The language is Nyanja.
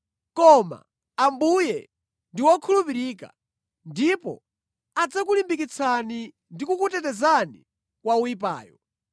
Koma Ambuye ndi wokhulupirika, ndipo adzakulimbikitsani ndi kukutetezani kwa woyipayo.